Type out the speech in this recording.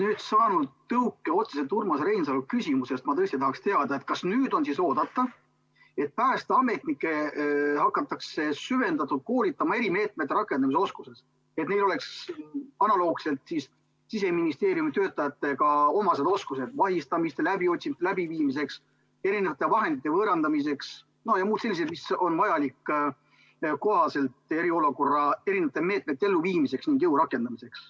Olles saanud tõuke otseselt Urmas Reinsalu küsimusest, ma tõesti tahaksin teada, kas nüüd on oodata, et päästeametnikke hakatakse süvendatult koolitama ja andma neile erimeetmete rakendamine oskusi, et neil oleks analoogselt Siseministeeriumi töötajatega oskused vahistamiste ja läbiotsimiste läbiviimiseks, erinevate vahendite võõrandamiseks ja muud sellised oskused, mis on vajalikud ka eriolukorra meetmete elluviimiseks ning jõu rakendamiseks.